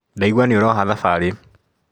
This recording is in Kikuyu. Ndaigua nĩũroha thabarĩ.